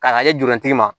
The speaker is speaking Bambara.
K'a lajɛ jurunin ma